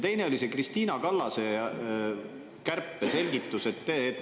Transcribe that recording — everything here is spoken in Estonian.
Teine on Krist`ina Kallase kärpe selgituste kohta.